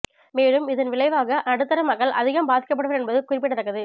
மேலும் இதன் விளைவாக நடுத்தர மக்கள் அதிகம் பாதிக்கப்படுவர் என்பது குறிப்பிடத்தக்கது